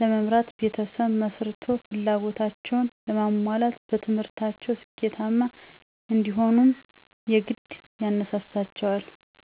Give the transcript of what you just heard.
ለመምራት ቤተሰብ መስርቶ ፍላጎታቸዉን ለማሟላት በትምህርታቸዉ ስኬታማ እንዲሆኑም የግድ ያነሳሳቸዋል።